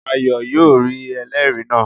Ayo yóò rí ẹlẹ́ẹ̀rí náà